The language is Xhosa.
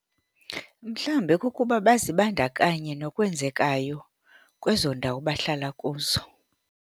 Mhlawumbe kukuba bazibandakanye nokwenzekayo kwezo ndawo bahlala kuzo.